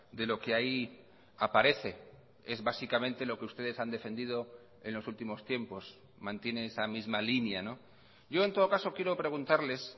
de lo que ahí aparece es básicamente lo que ustedes han defendido en los últimos tiempos mantiene esa misma línea yo en todo caso quiero preguntarles